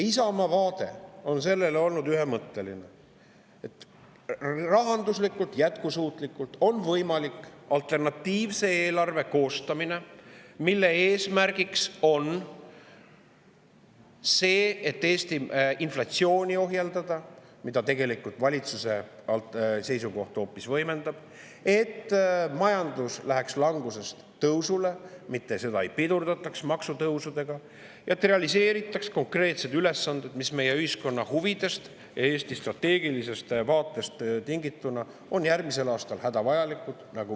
Isamaa vaade sellele on olnud ühemõtteline: on võimalik rahanduslikult jätkusuutlikult koostada alternatiivne eelarve, mille eesmärk on see, et Eestis ohjeldada inflatsiooni – valitsuse seisukoht hoopis võimendab seda –, et majandus läheks langusest tõusule, et seda ei pidurdataks maksutõusudega, et konkreetseid ülesandeid, mis meie ühiskonna huvidest ja Eesti strateegilisest vaatest tingituna on järgmisel aastal hädavajalikud.